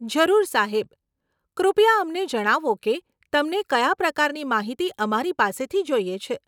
જરૂર સાહેબ, કૃપયા અમને જણાવો કે તમને કયા પ્રકારની માહિતી અમારી પાસેથી જોઈએ છે?